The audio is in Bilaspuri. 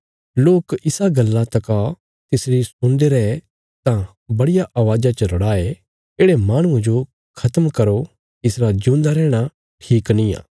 लोक इसा गल्ला तका तिसरी सुणदे रये तां बड्डिया अवाज़ा च रड़ाये येढ़े माहणुये जो खत्म करो इसरा ज्यूंदा रैहणा ठीक निआं